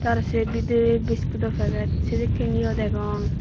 r sey bidiri biskut o packet sedekken eyo degong.